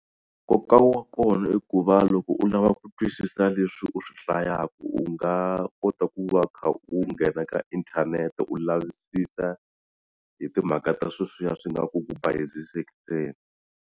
Nkoka wa kona i ku va loko u lava ku twisisa leswi u swi hlayaku u nga kota ku va u kha u nghena ka inthanete u lavisisa hi timhaka ta sweswiya swi nga ku ku bayizisikeni.